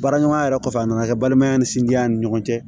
Baara ɲɔgɔnya yɛrɛ kɔfɛ a nana kɛ balimaya ni sinji ni ɲɔgɔn cɛ